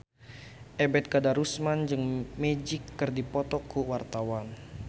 Ebet Kadarusman jeung Magic keur dipoto ku wartawan